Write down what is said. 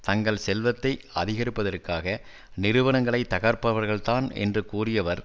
தங்கள் செல்வத்தை அதிகரிப்பதற்காக நிறுவனங்களை தகர்ப்பவர்கள் தான் என்று கூறியவர்